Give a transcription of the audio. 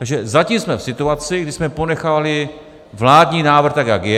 Takže zatím jsme v situaci, kdy jsme ponechali vládní návrh, tak jak je.